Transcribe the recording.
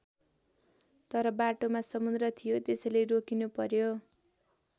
तर बाटोमा समुद्र थियो त्यसैले रोकिनु पर्‍यो।